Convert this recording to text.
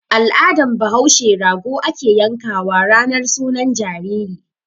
Al'adan bahaushe rago ake yan kawa ranar sunan jariri.